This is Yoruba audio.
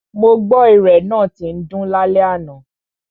Mo gbọ́ náà tín dún lálẹ́ àná.